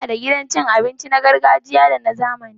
Muna da gidan cin abinci na gargajiya da na zamani